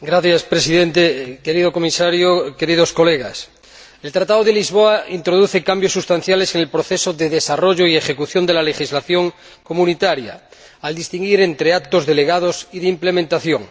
Señor Presidente, querido Comisario, queridos colegas, el Tratado de Lisboa introduce cambios sustanciales en el proceso de desarrollo y ejecución de la legislación comunitaria, al distinguir entre actos delegados y de ejecución.